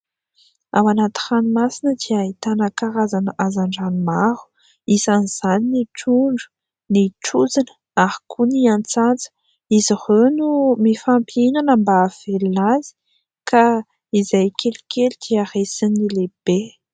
Ao anaty ranomasina dia ahitana karazana hazandrano maro ; isan'izany ny trondro, ny trozona, ary koa ny atsantsa. Izy ireo no mifampihinana mba ahavelona azy ka izay kelikely dia resin'ny lehibe.